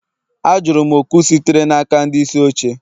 Ajụrụ m oku sitere n'aka ndị isi oche